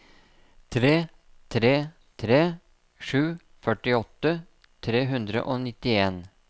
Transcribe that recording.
tre tre tre sju førtiåtte tre hundre og nittien